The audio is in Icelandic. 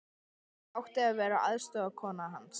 Ég átti að vera aðstoðarkona hans.